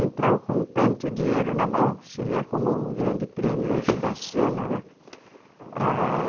Então, com tanto dinheiro na mão, seria como um grande prêmio hoje da Sena, né? Ãh